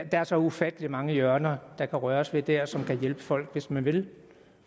der er så ufattelig mange hjørner der kan røres ved der som kan hjælpe folk hvis man vil